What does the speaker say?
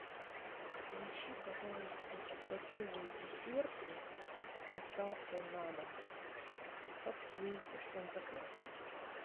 поищи пожалуйста готовые десерты с доставкой на дом капкейки что нибудь такое